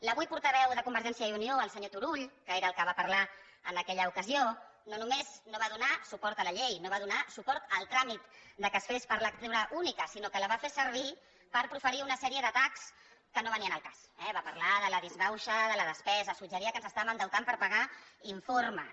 l’avui portaveu de convergència i unió el senyor turull que era el que va parlar en aquella ocasió no només no va donar suport a la llei no va donar suport al tràmit que es fes per lectura única sinó que la va fer servir per proferir una sèrie d’atacs que no venien al cas eh va parlar de la disbauxa de la despesa suggeria que ens estàvem endeutant per pagar informes